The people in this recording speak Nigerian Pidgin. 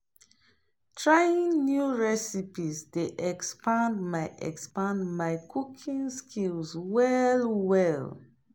Trying new recipes dey expand my cooking skills well well.